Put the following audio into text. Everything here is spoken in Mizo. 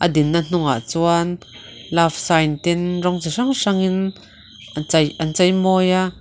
a dinna hnungah chuan love sign ten rawng chi hrang hrangin chei a chei maw a.